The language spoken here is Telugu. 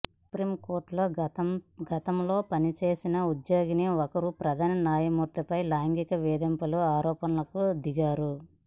సుప్రీంకోర్టులో గతంలో పనిచేసిన ఉద్యోగిని ఒకరు ప్రధాన న్యాయమూర్తిపై లైంగిక వేధింపుల ఆరోపణలకు దిగారు